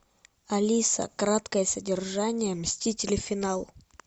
алиса краткое содержание мстители финал